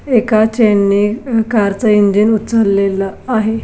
एका चैन ने कार च इंजन उचललेल आहे.